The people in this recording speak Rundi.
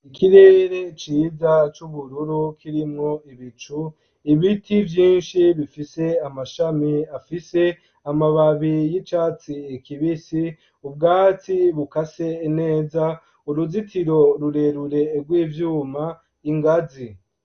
Ikirere ciza c'ubururu kirimwo ibicu ibiti vyinshi bifise amashami afise amababi y'icatsi kibisi, ubwatsi bukase neza uruzitiro rurerure rw'ivyuma, ingazi.